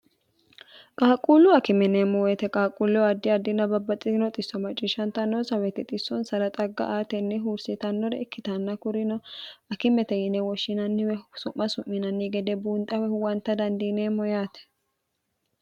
qaaqquullu akimeneemmo woyite qaaqquulleo addi addina babbaxxitino xisso macciishshanta noosa weti xissoonsara xagga aatenni huursitannore ikkitanna kurino akimete yine woshshinanniwe su'ma su'minanni gede buunxawe huwanta dandiineemmo yaate